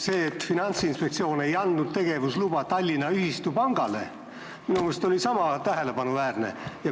See, et Finantsinspektsioon ei andnud tegevusluba Tallinna ühistupangale, oli minu meelest niisama tähelepanuväärne.